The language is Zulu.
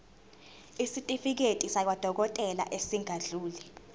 isitifiketi sakwadokodela esingadluli